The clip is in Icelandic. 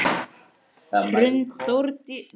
Hrund Þórsdóttir: Og var það skemmtilegt?